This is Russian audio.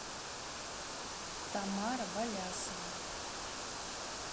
тамара болясова